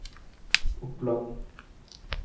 Oppland